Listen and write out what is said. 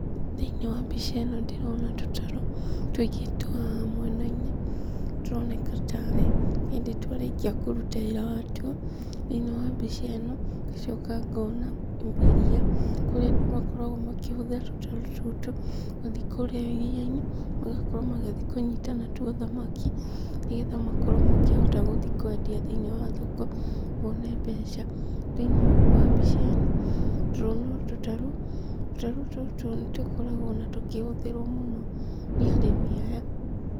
Thĩinĩ wa mbica ĩno ndĩrona tũĩngĩ twa mũenainĩ tũroneka tarĩ hĩndĩ twarĩkia kũrũta wĩra watwo thĩinĩ wa mbica ĩno ngacoka ngona iria kũrĩa makorageo makĩhũthĩra tũtarũ tũtũ magathi kũrĩa iria inĩ magakorwo magĩthi kũnnyĩta natwo thamaki nĩgetha makorwo makĩhota gũthiĩ kwendia thĩinĩ wa thoko mone mbeca thĩinĩ wa mbica ĩno ndĩrona tũtarũ tũtarũ tũtũ nĩtũkoragwo ona tũkĩhũthĩrwo nĩ arĩmi aya.